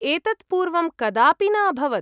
एतत् पूर्वं कदापि न अभवत्।